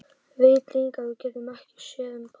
Veit líka að við getum ekki séð um barn.